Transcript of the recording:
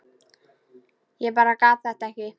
Ég bara gat þetta ekki.